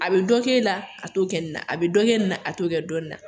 A bɛ dɔ kɛ e la a t'o kɛ ne na a bɛ dɔ kɛ nin na a t'o kɛ dɔ la